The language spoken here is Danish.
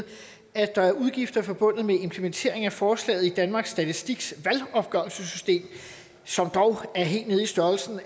at der er udgifter forbundet med implementeringen af forslaget i danmarks statistiks valgopgørelsessystem som dog er helt nede i størrelsen